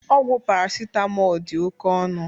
Ọgwụ paracetamol dị oke ọnụ